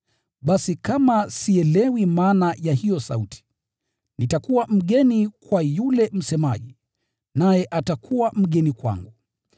Basi kama sielewi maana ya hiyo sauti, nitakuwa mgeni kwa yule msemaji, naye atakuwa mgeni kwangu.